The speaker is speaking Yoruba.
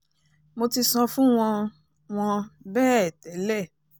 mo ti sọ fún wọn wọn bẹ́ẹ̀ tẹ́lẹ̀